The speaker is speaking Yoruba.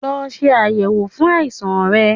Lọ se ayẹwo fun aisan rẹ